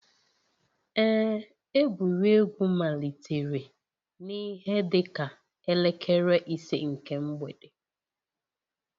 Ee, egwuregwu malitere n'ihe dịka elekere ise nke mgbede